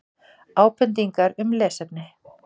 Ábendingar um lesefni: